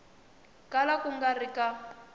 kala ku nga ri ka